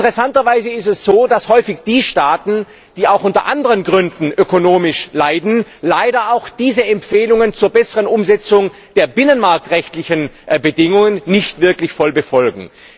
Interessanterweise ist es so, dass häufig die Staaten, die auch aus anderen Gründen ökonomisch leiden, leider auch diese Empfehlungen zur besseren Umsetzung der binnenmarktrechtlichen Bedingungen nicht wirklich voll befolgen.